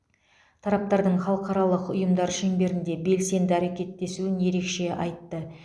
тараптардың халықаралық ұйымдар шеңберінде белсенді әрекеттесуін ерекше айтты